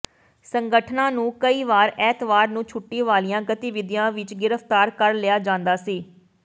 ਸੰਗਠਨਾਂ ਨੂੰ ਕਈ ਵਾਰ ਐਤਵਾਰ ਨੂੰ ਛੁੱਟੀ ਵਾਲੀਆਂ ਗਤੀਵਿਧੀਆਂ ਵਿੱਚ ਗ੍ਰਿਫਤਾਰ ਕਰ ਲਿਆ ਜਾਂਦਾ ਸੀ